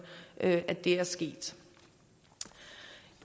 at det er sket